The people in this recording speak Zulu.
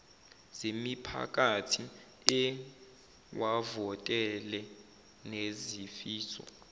zemiphakathi ewavotele nezifiso